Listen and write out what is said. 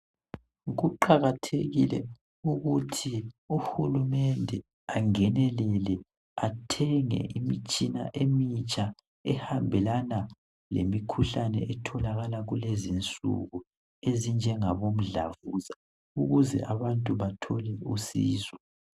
Kuqakathekile ukuthi uHulumende angenelele athenge imitshina emitsha ehambelana lemikhuhlane etholakala kulezi insuku ezinjengabo mdlavuza ukuze abantu batholwe usizo.